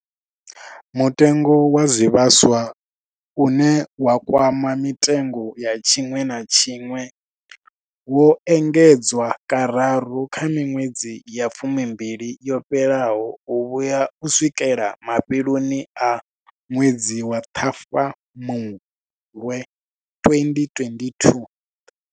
Mutengo wa zwivhaswa, une wa kwama mitengo ya tshiṅwe na tshiṅwe, wo engedzwa kararu kha miṅwedzi ya fumimbili yo fhelaho u vhuya u swikela mafheloni a ṅwedzi wa Ṱhafamuhwe 2022.